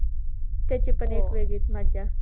त्याची पण एक वेगळीच मज्जा.